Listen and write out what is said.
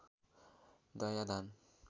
घैया धान